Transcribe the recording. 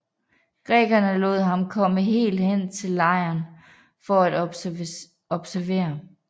Grækerne lod ham komme helt hen til lejren for at observere